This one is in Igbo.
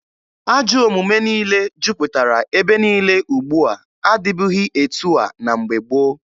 Ajọ omume niile juputara ebe niile ugbua adịbughị etu a na mgbe gboo.